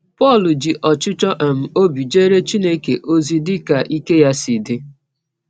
Pọl ji ọchịchọ um ọbi jeere Chineke ọzi dị ka ike ya si dị